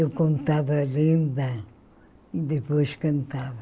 Eu contava a lenda e depois cantava.